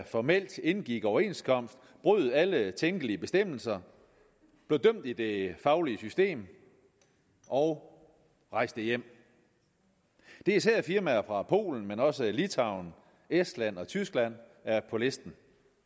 formelt indgik overenskomst brød alle tænkelige bestemmelser blev dømt i det faglige system og rejste hjem det er især firmaer fra polen men også fra litauen estland og tyskland er på listen